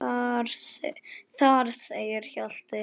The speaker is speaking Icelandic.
Þar segir Hjalti